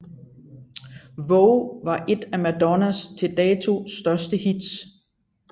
Vogue var et af Madonnas til dato største hits